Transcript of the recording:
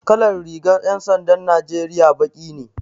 Kalar rigan 'yan sandan Najeriya baki ne.